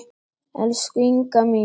Elsku Inga mín.